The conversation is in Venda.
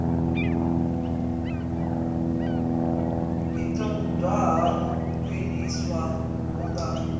i ṱoḓa u khwiniswa vhunga